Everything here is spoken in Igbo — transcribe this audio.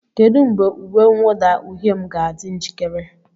Kedu mgbe uwe mwụda uhie m ga-adị njikere?